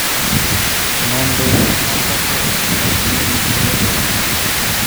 """Monde mamokogo ok gin wedewa."